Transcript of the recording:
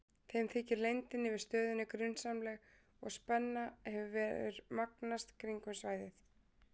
Þeim þykir leyndin yfir stöðinni grunsamleg og spenna hefur magnast kringum svæðið.